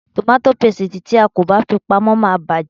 Tòmàtì pásítìì tí a kò bá fi pamọ́ máa bàjé.